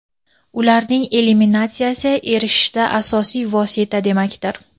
ularning eliminatsiyasiga erishishda asosiy vosita demakdir.